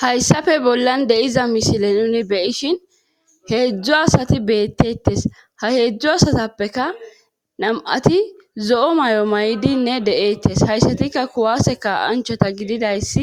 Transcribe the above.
Hayssafe bollan deyiza mishile nuni beyishin heedzdzo asati beettetes ha heedzdzo asatappeka nam7ati zo7o may7o maydinne deeettes hayssatikka kuwaseka anchota gididayssi